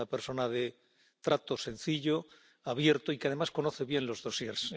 Es una persona de trato sencillo, abierto y que además conoce bien los expedientes.